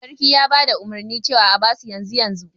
Sarkin ya bada umurni cewa a abasu yanzu yanzu